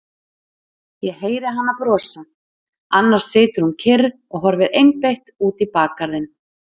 Ég heyri hana brosa, annars situr hún kyrr og horfir einbeitt út í bakgarðinn.